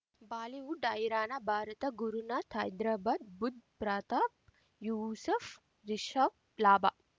Bollywood ಹೈರಾಣ ಭಾರತ ಗುರುನಾಥ್ ಹೈದರಾಬಾದ್ ಬುಧ್ ಪ್ರತಾಪ್ ಯೂಸಫ್ ರಿಷಬ್ ಲಾಭ